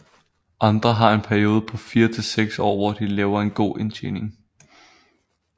Andre har en periode på 4 til 6 år hvor de laver en god indtjening